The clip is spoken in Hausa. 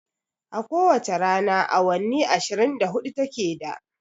A ko wace rana awanni ashirin da hudu ta ke da